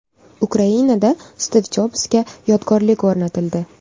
Ukrainada Stiv Jobsga yodgorlik o‘rnatildi.